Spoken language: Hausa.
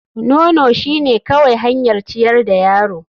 Nono shine kawai hanyar ciyar da yaro.